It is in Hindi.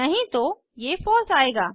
नहीं तो ये फलसे आएगा